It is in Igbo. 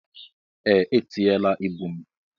Ee, etinye la ịbụ m.